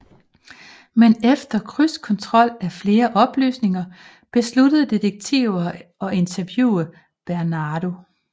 Men efter krydskontrol af flere oplysninger besluttede detektiver at interviewe Bernardo